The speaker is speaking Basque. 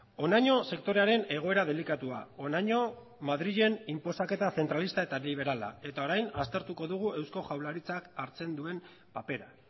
honaino sektorearen egoera delikatua honaino madrilen inposaketa zentralista eta liberala eta orain aztertuko dugu eusko jaurlaritzak hartzen duen papera